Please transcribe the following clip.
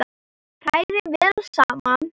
Hrærið vel saman.